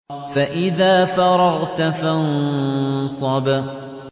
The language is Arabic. فَإِذَا فَرَغْتَ فَانصَبْ